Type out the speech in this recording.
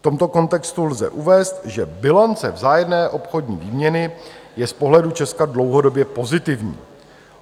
V tomto kontextu lze uvést, že bilance vzájemné obchodní výměny je z pohledu Česka dlouhodobě pozitivní.